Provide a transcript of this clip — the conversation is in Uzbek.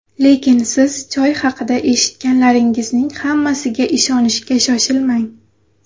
Lekin siz choy haqida eshitganlaringizning hammasiga ishonishga shoshilmang!